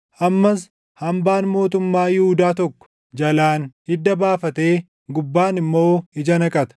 Ammas hambaan mootummaa Yihuudaa tokko, jalaan hidda baafatee gubbaan immoo ija naqata.